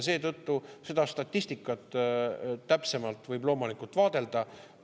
Seetõttu võib seda statistikat loomulikult täpsemalt vaadelda.